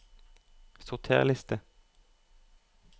Sorter liste